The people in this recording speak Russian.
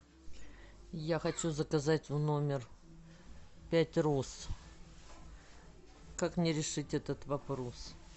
я хочу заказать в номер пять роз как мне решить этот вопрос